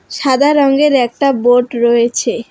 সাদা রঙের একটা বোর্ড রয়েছে।